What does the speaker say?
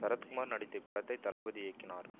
சரத்குமார் நடித்த இப்படத்தை தளபதி இயக்கினார்